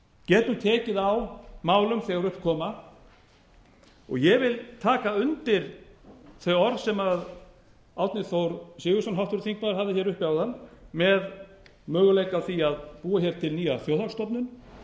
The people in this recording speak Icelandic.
getum tekið á málum þegar upp koma ég vil taka undir þau orð sem árni þór sigurðsson háttvirtur þingmaður hafði hér uppi áðan með möguleika á því að búa hér til nýja þjóðhagsstofnun